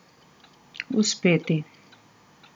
Uspeti.